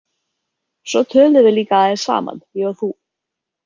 Svo töluðum við líka aðeins saman, ég og þú.